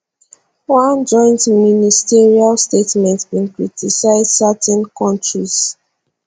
one joint ministerial statement bin criticise certain kontris